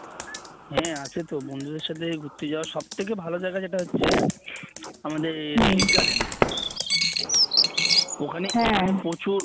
হ্যাঁ আছে তো বন্ধুদের সাথে ঘুরতে যাওয়ার সব থেকে ভালো জায়গা যেটা হচ্ছে আমাদের বি গার্ডেন ওখানে প্রচুর